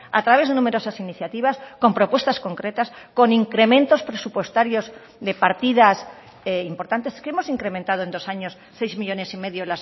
a través de numerosas iniciativas con propuestas concretas con incrementos presupuestarios de partidas importantes que hemos incrementado en dos años seis millónes y medio